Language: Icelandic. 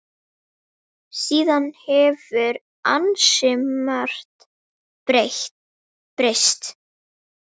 Síðan hefur ansi margt breyst.